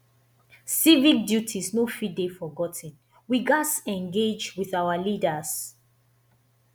civic duties no fit dey forgot ten we gatz engage with our leaders